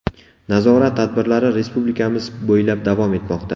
Nazorat tadbirlari respublikamiz bo‘ylab davom etmoqda.